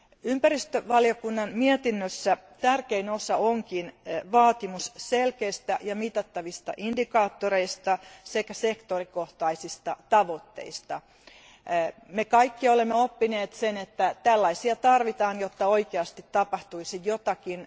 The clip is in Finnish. Ympäristövaliokunnan mietinnössä tärkein osa onkin vaatimus selkeistä ja mitattavista indikaattoreista sekä alakohtaisista tavoitteista. Me kaikki olemme oppineet sen, että tällaisia tarvitaan, jotta oikeasti tapahtuisi jotakin.